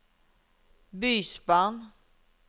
bysbarn